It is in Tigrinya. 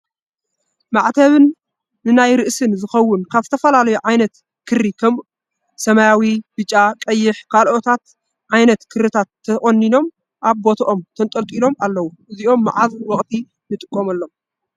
ማዕተብ ን ናይ ርእስን ዝከውን ካብ ዝተፈላለዩ ዓነት ክሪ ከም ሰማያዊ፣ ቢጫ፣ ቀይሕ፣ ካልኦታትን ዓይነት ክርታት ተቆኑኖም ኣብ ቦቶኦም ተንጠልጢሎም ኣለዉ እዚኦም መዓዝ ወቅቲ ንጥቀመሎም ?